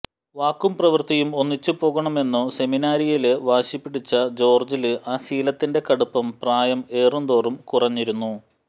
വാക്കും പ്രവൃത്തിയും ഒന്നിച്ചുപോകണമെന്നു സെമിനാരിയില് വാശിപിടിച്ച ജോര്ജില് ആ ശീലത്തിന്റെ കടുപ്പം പ്രായം ഏറും തോറും കുറഞ്ഞിരുന്നു